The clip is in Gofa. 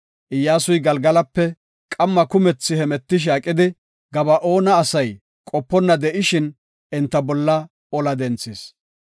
Iyyasuy Galgalape qamma kumethi hemetishe aqidi, Gaba7oone asay qoponna de7ishin enta bolla ola denthis.